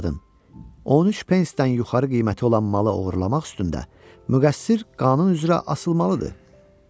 13 pensdən yuxarı qiyməti olan malı oğurlamaq üstdə müqəssir qanun üzrə asılmalıdır.